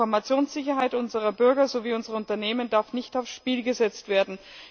Die Informationssicherheit unserer Bürger sowie unserer Unternehmen darf nicht aufs Spiel gesetzt werden.